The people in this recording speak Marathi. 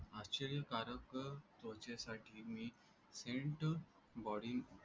आश्चर्यकारक त्वचेसाठी मी सेंट बॉडी